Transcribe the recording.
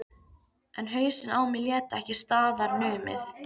En hausinn á mér lét ekki staðar numið.